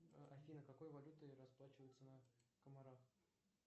афина какой валютой расплачиваются на камарах